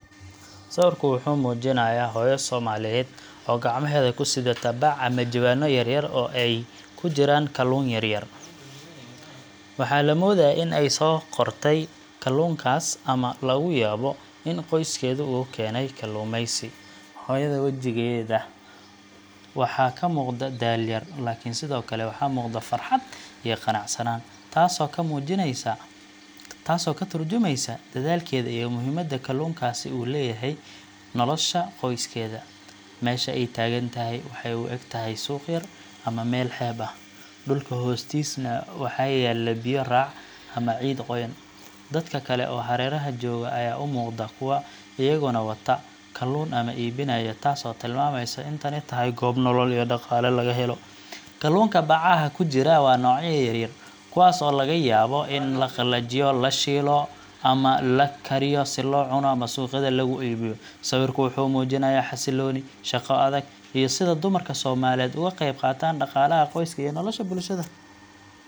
Sawirka wuxuu muujinayaa hooyo Soomaaliyeed oo gacmaheeda ku sidata bac ama jawaano yaryar oo ay ku jiraan kalluun yar yar. Waxaa la moodayaa in ay soo qortay kalluunkaas ama laga yaabo in qoyskeedu uga keenay kalluumaysi. Hooyada wajigeeda waxaa ka muuqda daal yar, laakiin sidoo kale waxaa muuqda farxad iyo qanacsanaan, taasoo ka tarjumeysa dedaalkeeda iyo muhiimadda kalluunkaasi u leeyahay nolosha qoyskeeda. Meesha ay taagan tahay waxay u egtahay suuq yar ama meel xeeb ah, dhulka hoostiisana waxaa yaalla biyo raac ama ciid qoyan. Dad kale oo hareeraha jooga ayaa u muuqda kuwo iyaguna wata kalluun ama iibinaya, taasoo tilmaamaysa in tani tahay goob nolol iyo dhaqaale laga helo. Kalluunka bacaha ku jira waa noocyo yar yar, kuwaas oo laga yaabo in la qalajiyo, la shiilo, ama la kariyo si loo cuno ama suuqyada loogu iibiyo. Sawirku wuxuu muujinayaa xasillooni, shaqo adag, iyo sida dumarka Soomaaliyeed uga qeyb qaataan dhaqaalaha qoyska iyo nolosha bulshada.